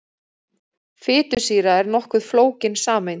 Fitusýra er nokkuð flókin sameind.